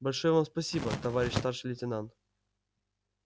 большое вам спасибо товарищ старший лейтенант